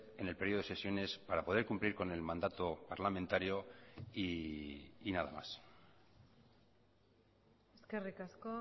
en el periodo de sesiones para poder cumplir con el mandato parlamentario y nada más eskerrik asko